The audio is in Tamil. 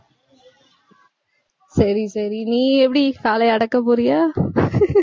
சரி சரி நீ எப்படி காளைய அடக்க போறியா